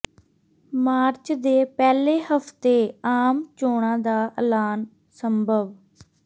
March ਦੇ ਪਹਿਲੇ ਹਫ਼ਤੇ ਆਮ ਚੋਣਾਂ ਦਾ ਐਲਾਨ ਸੰਭਵ